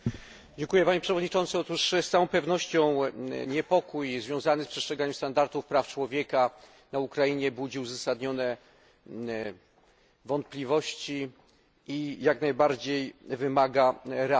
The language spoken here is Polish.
Panie Przewodniczący! Z całą pewnością niepokój związany z przestrzeganiem standardów praw człowieka na Ukrainie budzi uzasadnione wątpliwości i jak najbardziej wymaga reakcji.